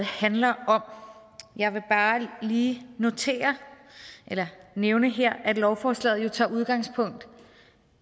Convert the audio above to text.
handler om jeg vil bare lige notere eller nævne her at lovforslaget tager udgangspunkt